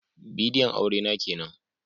Bidiyon aure na kenan